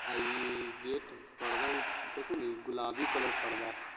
आ इ गेट पर्दा भी कइसन हई गुलाबी कलर पर्दा हई।